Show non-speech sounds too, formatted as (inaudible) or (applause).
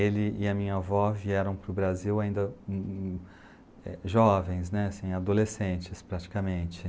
Ele e a minha avó vieram para o Brasil ainda (unintelligible) jovens né, assim, adolescentes praticamente.